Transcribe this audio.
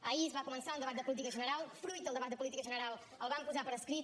ahir es va començar un debat de política general fruit del debat de política general ho vam posar per escrit